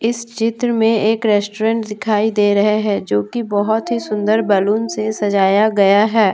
इस चित्र में एक रेस्टोरेंट दिखाई दे रहे है जो कि बहुत ही सुंदर बैलून से सजाया गया है ।